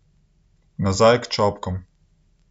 Nazaj k čopkom.